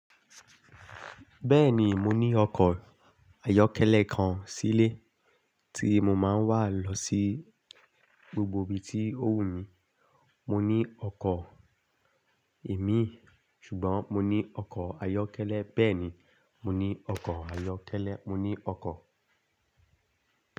Bẹ́ẹ̀ni, mo ní ọkọ̀ ayọ́kẹ́lẹ́ kan sílé tí mo máa ń wà lọ sí gbogbo ibi tí ó wù mí. Mo ní ọkọ̀ imi, ṣùgbọ́n mo ní ọkọ̀ ayọ́kẹ́lẹ́. Bẹ́ẹ̀ni, mo ní ọkọ̀ ayọ́kẹ́lẹ́. Mo ní ọkọ̀